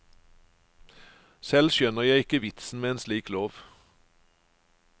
Selv skjønner jeg ikke vitsen med en slik lov.